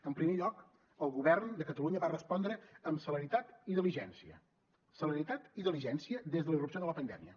en primer lloc el govern de catalunya va respondre amb celeritat i diligència celeritat i diligència des de la irrupció de la pandèmia